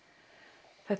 þetta